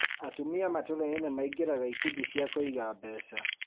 Atumia matũra-inĩ nĩmaingĩraga ikundi cia kũiga mbeca